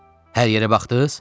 Hər yerə baxdız?